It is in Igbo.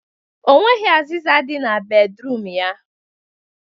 O nweghi azịza dị na bedruum ya